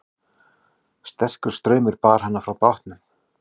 Sterkur straumur bar hann frá bátnum